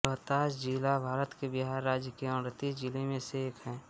रोहतास जिला भारत के बिहार राज्य के अड़तीस जिलों में से एक है